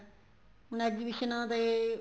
ਹੁਣ exhibitions ਦੇ